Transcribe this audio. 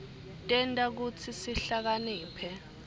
tenta kutsi sihlakaniphe